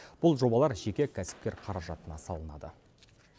бұл жобалар жеке кәсіпкер қаражатына салынады